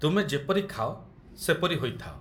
ତୁମେ ଯେପରି ଖାଅ, ସେପରି ହୋଇଥାଅ।